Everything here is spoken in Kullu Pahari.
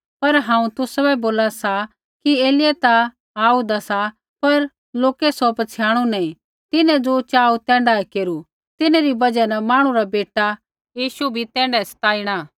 पर हांऊँ तुसाबै बोला सा कि एलिय्याह ता आऊदा सा पर लोकै सौ पछ़ियाणु नी तिन्हैं ज़ो चाहू तैण्ढा केरू तिन्हरी बजहा न मांहणु रा बेटा यीशु भी तैण्ढाऐ सताइणा